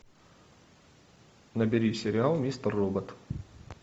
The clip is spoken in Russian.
набери сериал мистер робот